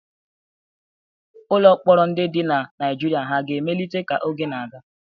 Ụlọ mkpọrọ ndị dị na Naijiria hà ga-emelite ka oge na-aga?